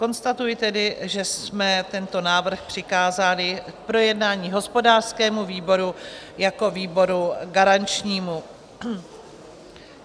Konstatuji tedy, že jsme tento návrh přikázali k projednání hospodářskému výboru jako výboru garančnímu.